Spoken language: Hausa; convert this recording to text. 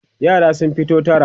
yara sun fito tara